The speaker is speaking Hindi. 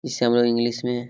इस से हम लोग इंग्लिश मे।